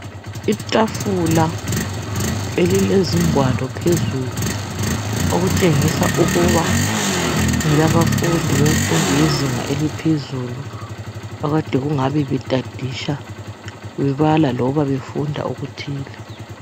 Itafula elilezingwalo phezulu, okutshengisa ukuba ngelabafundi bemfundo yezinga eliphezulu, akade bengabe betadisha. Bebala loba befunda okuthile.